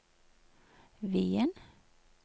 Wien